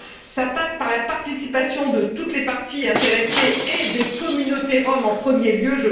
Cela passe par la participation de toutes les parties intéressées et des communautés roms en premier lieu.